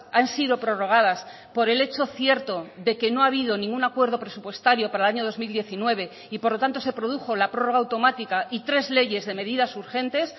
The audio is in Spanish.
han sido prorrogadas por el hecho cierto de que no ha habido ningún acuerdo presupuestario para el año dos mil diecinueve y por lo tanto se produjo la prórroga automática y tres leyes de medidas urgentes